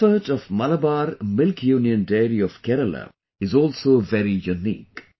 The effort of Malabar Milk Union Dairy of Kerala is also very unique